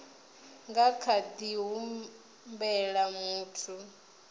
nga kha ḓi humbela muthu